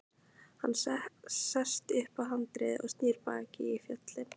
Hann sest upp á handriðið og snýr baki í fjöllin.